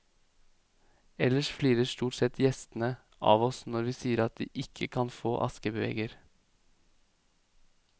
Ellers flirer stort sett gjestene av oss når vi sier at de ikke kan få askebeger.